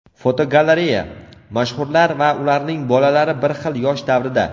Fotogalereya: Mashhurlar va ularning bolalari bir xil yosh davrida.